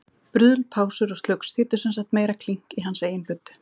Bruðl, pásur og slugs þýddu sem sagt meira klink í hans eigin buddu.